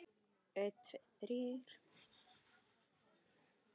Nú, það er naumast!